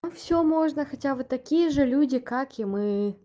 всё можно хотя вы такие же люди как и мы